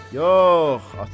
Yox, ata.